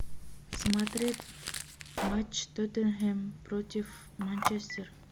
смотреть матч тоттенхэм против манчестер